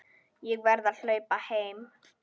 Ég verð að hlaupa heim.